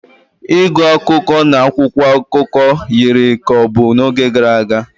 Ịgụ akụkọ na akwụkwọ akụkọ yiri ka ọ bụ n'oge gara aga